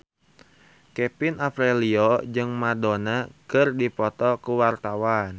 Kevin Aprilio jeung Madonna keur dipoto ku wartawan